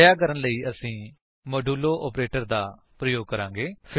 ਅਜਿਹਾ ਕਰਨ ਲਈ ਅਸੀ ਮੋਡੂਲੋ ਆਪਰੇਟਰ ਦਾ ਪ੍ਰਯੋਗ ਕਰਾਂਗੇ